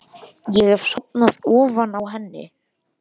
Ég hef sofnað ofan á henni.